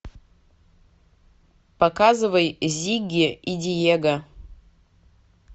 показывай зигги и диего